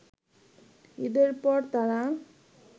ঈদের পর তারা